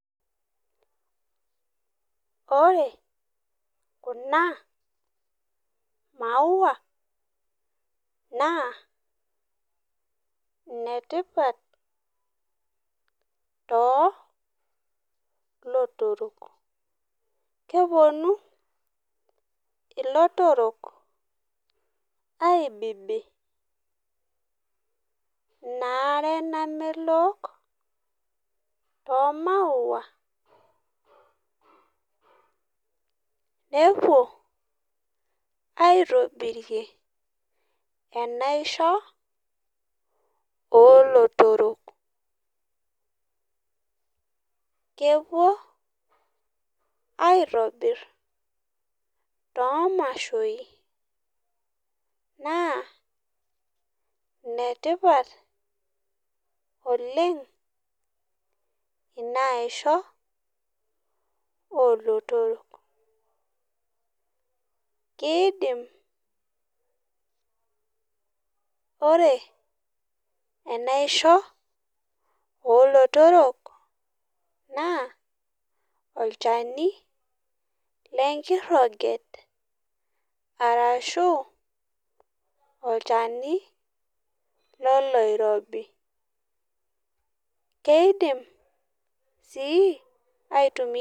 Wore kuna maua, naa inetipat too lotorok. Keponu ilotorrok aibibi inaare namelok toomau, nepuo aitobirie enaisho oolotorrok. Kepuo aitobirr toomashoi naa inetipat oleng' inaisho oolotorrok. Kiidim , wore enaisho oolotorrok naa olchani lenkiroget arashu, olchani loloirobi. Keidim sii aitumia